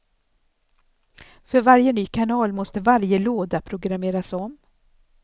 För varje ny kanal måste varje låda programmeras om.